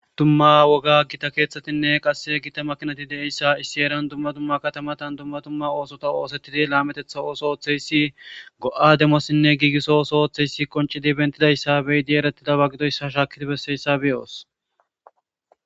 dumma woga gita keeththatinne qasse gita makinati de7issa issi eeran dumma dumma katamatan dumma dumma oosota oosettidi laametetha ooso ooththeyssi go7a demassinne giigiso oso oththeyssi qoncidi bentidayssa beyidi erettidaba gidoyssa shaakiti besseyssa beyos